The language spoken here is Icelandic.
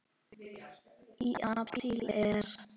Í apríl er